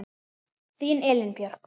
Þín Elín Björk.